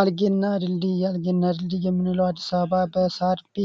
አርጌ እናት ድልድይ የምንለዉ እንግዲህ በአድስ አበባ